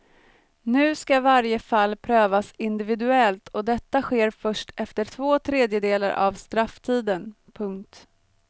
Nu ska varje fall prövas individuellt och detta sker först efter två tredjedelar av strafftiden. punkt